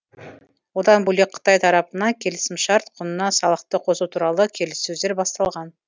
одан бөлек қытай тарапынан келісімшарт құнына салықты қосу туралы келіссөздер басталған